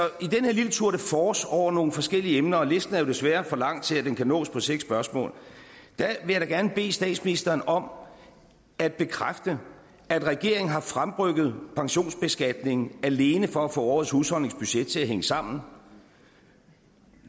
her lille tour de force over nogle forskellige emner og listen er jo desværre for lang til at den kan nås på seks spørgsmål vil jeg da gerne bede statsministeren om at bekræfte at regeringen har fremrykket pensionsbeskatningen alene for at få årets husholdningsbudget til at hænge sammen